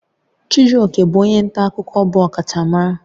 Chijioke bụ onye nta akụkọ bụ ọkachamara